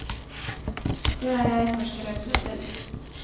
Det er jeg for skrøpelig til.